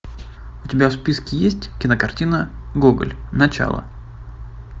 у тебя в списке есть кинокартина гоголь начало